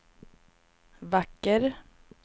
vacker